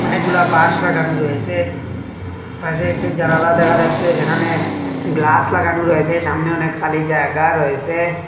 অনেকগুলা বাঁশ লাগানো রয়েছে পাশে একটি জানালা দেখা যাচ্ছে যেখানে গ্লাস লাগানো রয়েছে সামনে অনেক খালি জায়গা রয়েছে।